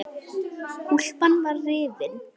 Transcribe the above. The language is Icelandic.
Úlpan var rifin.